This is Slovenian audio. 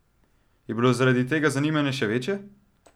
Je bilo zaradi tega zanimanje še večje?